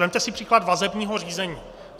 Vezměte si příklad vazebního řízení.